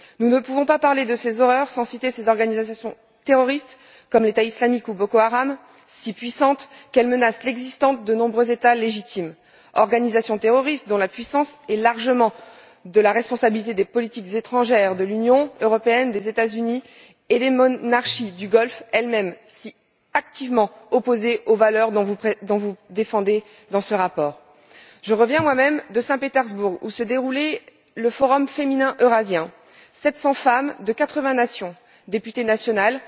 Nous ne pouvons pas parler de ces horreurs sans citer ces organisations terroristes, comme l'État islamique ou Boko Haram, si puissantes qu'elles menacent l'existence de nombreux États légitimes, organisations terroristes dont la puissance est largement de la responsabilité des politiques étrangères de l'Union européenne, des États Unis et des monarchies du Golfe elles mêmes, si activement opposées aux valeurs que vous défendez dans ce rapport. Je reviens moi même de Saint Petersbourg, où se déroulait le forum féminin eurasien. Sept cents femmes de quatre vingt nations, députées nationales,